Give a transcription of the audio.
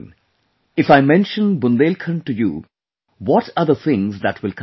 if I mention Bundelkhand to you, what are the things that will come to your mind